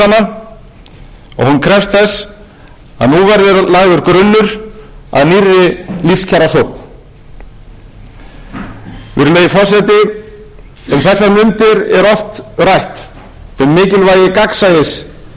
krefst þess að nú verði lagður grunnur að nýrri lífskjarasókn virðulegi forseti um þessar mundir er oft rætt um mikilvægi gagnsæis í öllum málum